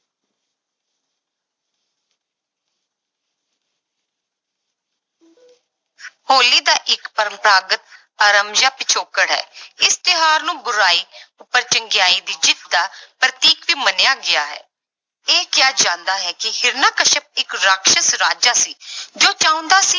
ਹੋਲੀ ਦਾ ਇੱਕ ਪਰੰਪਰਾਗਤ ਆਰਮਜਿਆ ਪਿਛੋਕੜ ਹੈ ਇਸ ਤਿਉਹਾਰ ਨੂੰ ਬੁਰਾਈ ਉੱਪਰ ਚੰਗਿਆਈ ਦੀ ਜਿੱਤ ਦਾ ਪ੍ਰਤੀਕ ਵੀ ਮੰਨਿਿਆ ਗਿਆ ਹੈ, ਇਹ ਕਿਹਾ ਜਾਂਦਾ ਹੈ ਕਿ ਹਰਿਕਸ਼ਪ ਇੱਕ ਰਾਖਸਸ ਰਾਜਾ ਸੀ ਜੋ ਚਾਹੁੰਦਾ ਸੀ